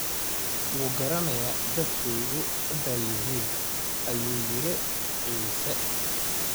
wuu garanayaa dadkayagu cidday yihiin,” ayuu yidhi Cisse.